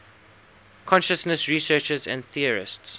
consciousness researchers and theorists